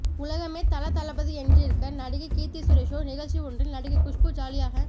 உலகமே தல தளபதி என்றிருக்க நடிகை கீர்த்தி சுரேஷோ நிகழ்ச்சி ஒன்றில் நடிகை குஷ்பு ஜாலியாக